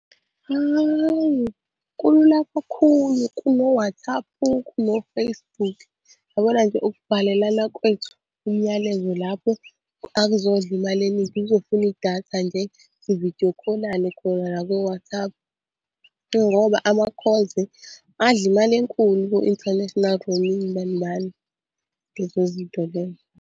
Hawu kulula kakhulu kuno-WhatsApp, kuno-Facebook. Yabona nje ukubhalelana kwethu umyalezo lapho akazondla imali eningi kuzofuna idatha nje. Si-video call-lane khona la ko-WhatsApp ngoba ama-calls adla imali enkulu ku-international bani bani lezo zinto lezo.